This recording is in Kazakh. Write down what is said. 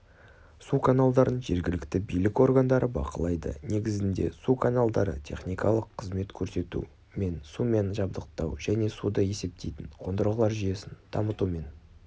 су каналдарын жергілікті билік органдары бақылайды негізінде су каналдары техникалық қызмет көрсету мен сумен жабдықтау және суды есептейтін қондырғылар жүйесін дамытумен